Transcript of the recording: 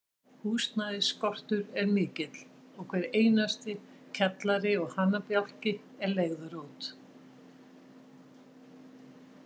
Húsnæðisskortur er mikill, og hver einasti kjallari og hanabjálki er leigður út.